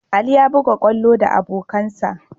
Ali ya buga kwallo da abokansa.